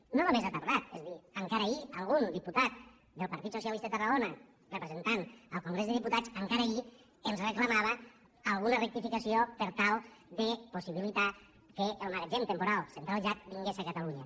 i no només ha tardar és a dir encara ahir algun diputat del partit socialista de tarragona representant al congrés dels diputats encara ahir ens reclamava alguna rectificació per tal de possibilitar que el magatzem temporal centralitzat vingués a catalunya